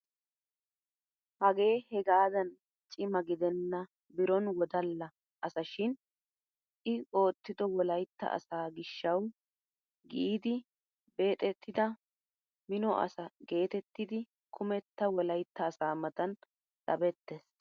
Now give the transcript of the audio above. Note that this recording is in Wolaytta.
Hagee hegaadan cimma gidenna biron wodalla asa shin i oottido wolayttaa asaa gishshawu giidi beexettida mino asa geetettidi kumetta wolayttaa asa matan sabettees!